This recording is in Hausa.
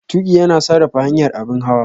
Tuƙi yana sarrafa hanyar abin hawa.